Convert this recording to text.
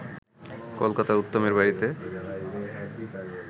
কলকাতায় উত্তমের বাড়িতে